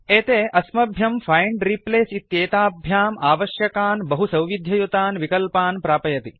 एते अस्म्यभ्यम् find replace इत्येताभ्याम् आवश्यकान् बहुसौविध्ययुतान् विकल्पान् प्रापयति